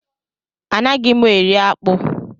Anaghị mụ eri akpụ.